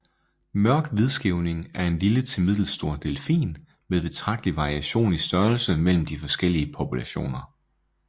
Mørk hvidskæving er en lille til middelstor delfin med betragtelig variation i størrelse mellem de forskellige populationer